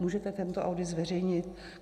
Můžete tento audit zveřejnit?